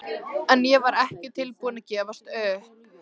En ég var ekki tilbúin að gefast upp.